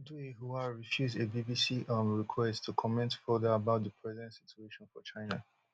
dui hua refuse a bbc um request to comment further about di present situation for china